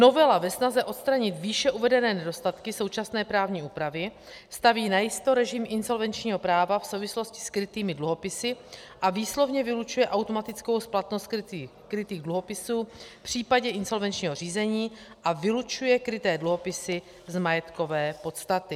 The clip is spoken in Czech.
Novela ve snaze odstranit výše uvedené nedostatky současné právní úpravy staví najisto režim insolvenčního práva v souvislosti s krytými dluhopisy a výslovně vylučuje automatickou splatnost krytých dluhopisů v případě insolvenčního řízení a vylučuje kryté dluhopisy z majetkové podstaty.